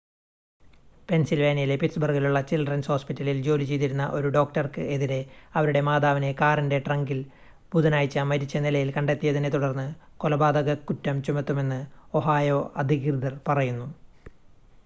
പെൻസിൽവാനിയയിലെ പിറ്റ്സ്ബർഗിലുള്ള ചിൽഡ്രൻസ് ഹോസ്പിറ്റലിൽ ജോലി ചെയ്തിരുന്ന ഒരു ഡോക്ടർക്ക് എതിരെ അവരുടെ മാതാവിനെ കാറിൻ്റെ ട്രങ്കിൽ ബുധനാഴ്ച മരിച്ച നിലയിൽ കണ്ടെത്തിയതിനെത്തുടർന്ന് കൊലപാതകക്കുറ്റം ചുമത്തുമെന്ന് ഒഹായോ അധികൃതർ പറയുന്നു